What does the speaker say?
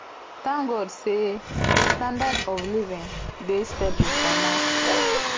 thank god say standard of living dey stable for now